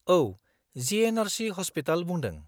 औ, GNRC hospital बुंदों।